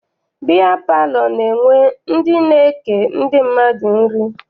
Biya palọ na-enwe ndị na-eke ndị mmadụ nri.